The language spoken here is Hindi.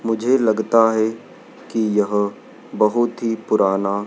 मुझे लगता है कि यह बहुत ही पुराना--